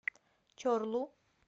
чорлу